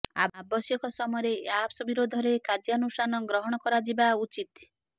ଆବଶ୍ୟକ ସମୟରେ ଏହି ଆପ୍ସ ବିରୋଧରେ କାର୍ଯ୍ୟାନୁଷ୍ଠାନ ଗ୍ରହଣ କରାଯିବା ଉଚିତ୍